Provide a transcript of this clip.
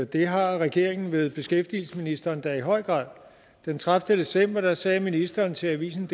det har regeringen ved beskæftigelsesministeren da i høj grad den tredivete december sagde ministeren til avisendk